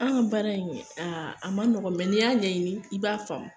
An ka baara in kɛ a ma nɔgɔ n'i y'a ɲɛɲini i b'a faamu.